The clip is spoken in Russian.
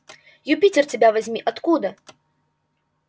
юпитер тебя возьми откуда